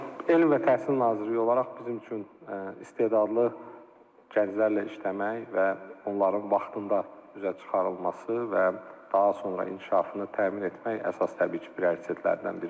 Elm və təhsil naziri olaraq bizim üçün istedadlı gənclərlə işləmək və onların vaxtında üzə çıxarılması və daha sonra inkişafını təmin etmək əsas təbii ki, prioritetlərdən biridir.